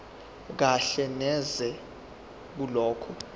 kahle neze kulokho